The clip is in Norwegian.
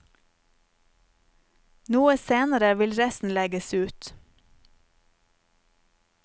Noe senere vil resten legges ut.